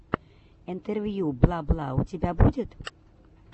интервью бла бла у тебя будет